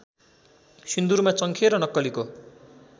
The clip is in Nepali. सिन्दुरमा चङ्खे र नक्कलीको